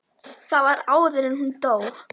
Það var áður en hún dó.